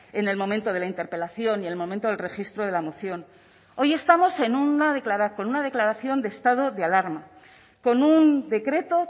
en el momento de la interpelación y en el momento del registro de la moción hoy estamos con una declaración de estado de alarma con un decreto